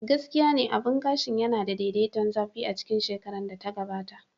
Gaskiya ne, abun gashin yana da daidaiton zafi a cikin shekarar da ta gabata.